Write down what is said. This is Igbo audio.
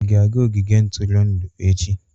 Ị ga-aga ogige ntụrụndụ echi?